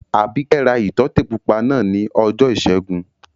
Àbíkẹ́ ra ìtọ́tè pupa náà ní ọjọ́ ìṣẹ́gun